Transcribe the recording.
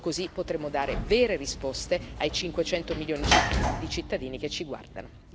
Solo così potremo dare vere risposte ai 500 milioni di cittadini che ci guardano.